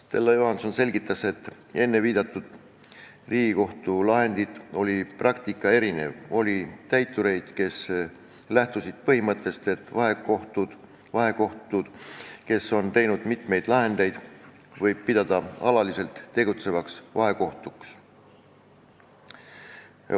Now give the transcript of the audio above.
Stella Johanson selgitas, et enne Riigikohtu viidatud lahendit oli praktika erinev: oli täitureid, kes lähtusid põhimõttest, et vahekohtuid, kes on teinud mitmeid lahendeid, võib pidada alaliselt tegutsevateks vahekohtuteks.